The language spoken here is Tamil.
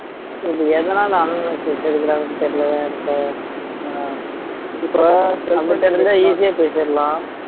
ஹம் எதனால எடுக்கறாங்கன்னு தெரியலே எனக்கு இப்ப இப்ப நம்மட்ட இருந்தா easy ஆ பேசிடலாம்